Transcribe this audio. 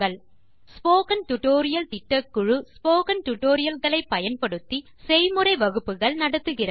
spoken tutorial திட்டக்குழு spoken tutorial களை பயன்படுத்தி செய்முறை வகுப்புகள் நடத்துகிறது